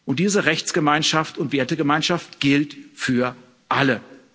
Und diese Rechtsgemeinschaft und Wertegemeinschaft gilt für alle.